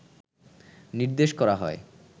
নির্দেশ করা হয়